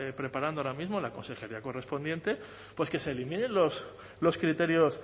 preparando ahora mismo en la consejería correspondiente pues que se eliminen los criterios